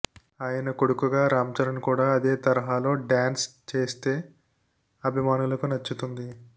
ఆయన కొడుకుగా రాంచరణ్ కూడా అదే తరహాలో డాన్స్ చేస్తే అభిమానులకు నచ్చుతుంది